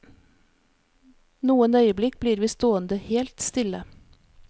Noen øyeblikk blir vi stående helt stille.